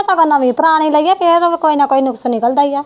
ਨਵੀਂ ਪਰਾਣੀ ਲਈ ਆ ਫੇਰ ਓਹਦੇ ਚ ਕੋਈ ਨਾ ਕੋਈ ਨੁਕਸ ਨਿਕਲਦਾ ਈ ਏ